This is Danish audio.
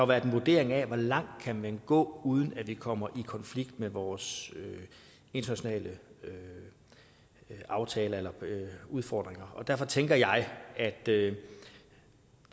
været en vurdering af hvor langt kan man gå uden at det kommer i konflikt med vores internationale aftaler eller udfordringer og derfor tænker jeg at det